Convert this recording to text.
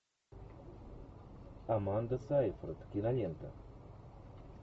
аманда сейфрид кинолента